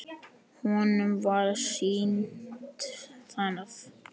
Honum var sýnt það.